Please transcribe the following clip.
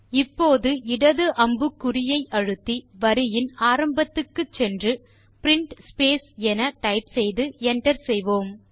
இப்போது இடது அம்புக்குறியை அழுத்தி வரியின் ஆரம்பத்துக்கு சென்று print space என டைப் செய்து என்டர் செய்யலாம்